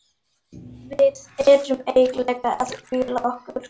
Við erum eiginlega að hvíla okkur.